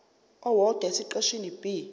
owodwa esiqeshini b